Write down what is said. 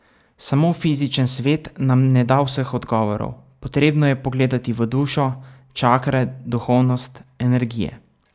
Samo fizičen svet nam ne da vseh odgovorov, potrebno je pogledati v dušo, čakre, duhovnost, energije.